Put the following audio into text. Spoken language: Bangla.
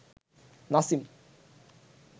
নাসিম